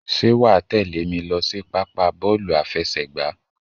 Ṣé wàá tèlé mi lọ sí pápá bọ́ọ̀lù àfẹsẹ̀gbá?